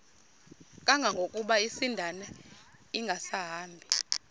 kangangokuba isindane ingasahambi